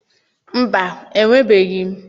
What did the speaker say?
Mba, enwebeghị m.